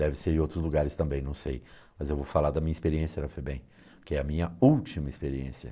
Deve ser em outros lugares também, não sei, mas eu vou falar da minha experiência na FEBEM, que é a minha última experiência.